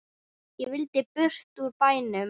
Ég vildi burt úr bænum.